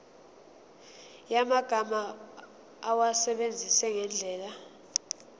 yamagama awasebenzise ngendlela